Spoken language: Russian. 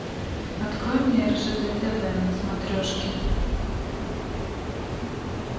открой мне ржд тв на смотрешке